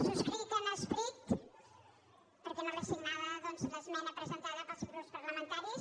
subscric en esperit perquè no l’he signada doncs l’esmena presentada pels grups parlamentaris